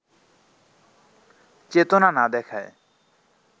চেতনা না দেখায়